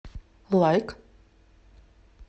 лайк